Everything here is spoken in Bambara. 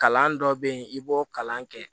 Kalan dɔ bɛ yen i b'o kalan kɛ